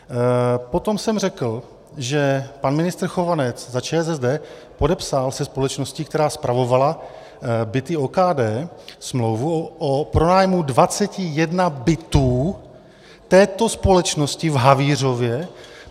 Potom jsem řekl, že pan ministr Chovanec za ČSSD podepsal se společností, která spravovala byty OKD, smlouvu o pronájmu 21 bytů této společnosti v Havířově.